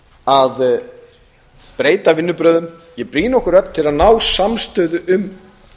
að breyta vinnubrögðum ég brýni okkur öll til að ná samstöðu um